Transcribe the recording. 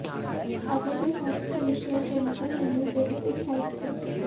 अजय के साथ screen share करने पर रणवीर बेहद उत्साहित थे